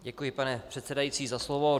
Děkuji, pane předsedající, za slovo.